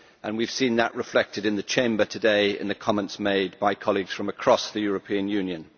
We have seen that reflected in the Chamber today in the comments made by colleagues from across the European Union.